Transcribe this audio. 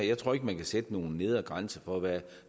jeg tror ikke man kan sætte nogen nedre grænse for hvad